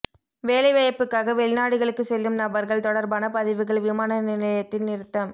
வேலை வாய்ப்புக்காக வெளிநாடுகளுக்கு செல்லும் நபர்கள் தொடர்பான பதிவுகள் விமான நிலையத்தில் நிறுத்தம்